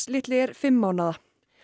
litli er fimm mánaða